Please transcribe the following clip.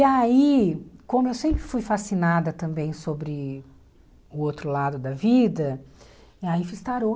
E aí, como eu sempre fui fascinada também sobre o outro lado da vida, aí fiz tarot.